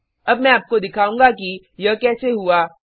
अब मैं आपको दिखाउंगी कि यह कैसे हुआ